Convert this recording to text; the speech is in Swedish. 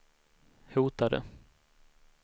hotade